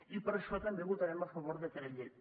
i per això també votarem a favor del decret llei